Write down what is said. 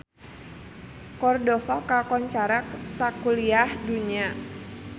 Cordova kakoncara sakuliah dunya